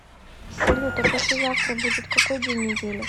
салют а послезавтра будет какой день недели